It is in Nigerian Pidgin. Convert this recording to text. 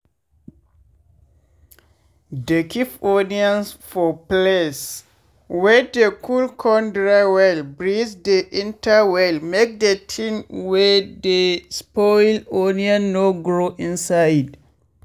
dey keep onions for place wey dey cold con dry wey breeze dey enter well make de tin wey dey spoil onion no grow inside.